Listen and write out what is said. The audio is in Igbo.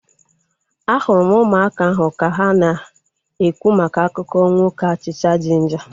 Ahụrụ m ụmụaka ahu ka ha na-ekwu maka akụkọ nwoke achịcha jinja